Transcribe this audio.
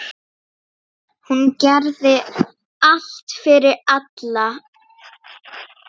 Hún gerði allt fyrir alla.